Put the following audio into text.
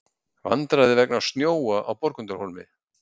Vandræði vegna snjóa á Borgundarhólmi